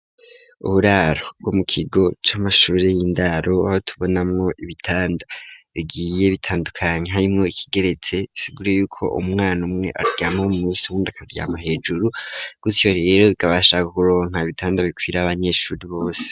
Uburaro bwo mu kigo c'amashure y'indaro aho tubonamwo ibitanda bigiye bitandukanye harimwo ikigeretse bigura yuko umwana umwe aryama umwe munsi uwund akaryama hejuru gutyo rero bikabasha kuronka ibitanda bikwira abanyesure bose.